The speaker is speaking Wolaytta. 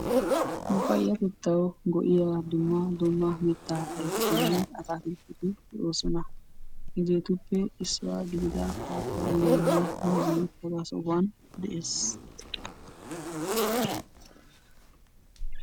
Nu payyatettaw go"iyaa dumma dumma mitta ayfetinne atakiltteti hega issuwaa gidida pappayenne muuze haga sohuwande'oosona